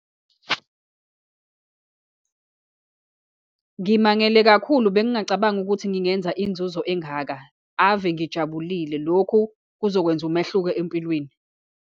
Ngimangele kakhulu, bengingacabangi ukuthi ngingenza inzuzo engaka. Ave ngijabulile, lokhu kuzokwenza umehluko empilweni.